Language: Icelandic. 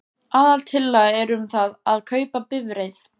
Aðaltillaga er um það að kaupa bifreið.